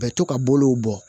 Bɛ to ka bolow bɔ